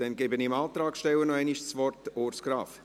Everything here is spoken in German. Ich gebe dem Antragsteller nochmals das Wort, Urs Graf.